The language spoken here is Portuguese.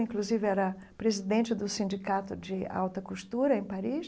Inclusive, era presidente do Sindicato de Alta Costura, em Paris.